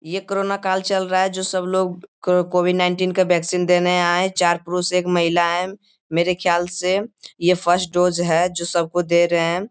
ये कोरोना काल चल रहा है जो सब लोग को कोविड नाइनटिन के वैक्सीन देने आए हैं। चार पुरुष एक महिला हैं। मेरे ख्याल से ये फर्स्ट डोज है जो सबको दे रहे हैं।